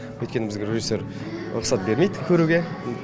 өйткені бізге режиссер рұқсат бермейді көруге